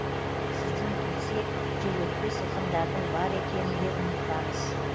сізден кетсе желөкпе сылқымдардың бар екенінде ұмытпаңыз